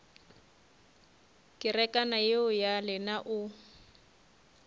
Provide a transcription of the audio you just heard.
kerekana yeo ya lena o